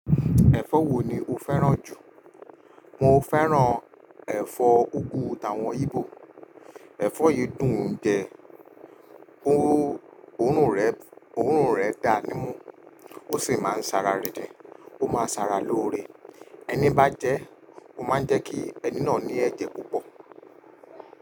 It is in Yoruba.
Ẹ̀fọ́ wo ni o fẹ́ràn jù? Mo fẹ́ràn ẹ̀fọ́ úgú t'awọ́n íbò. Ẹ̀fọ́ yìí dùn ún jẹ, òórùn rẹ̀ dá nimú ó sì máa ń ṣàrà ri din. Ó máa ń ṣàrà lóore, ẹni bá jẹ ẹ́, ó máa ń jẹ́ kí ẹni náà ní ẹ̀jẹ̀ púpọ̀.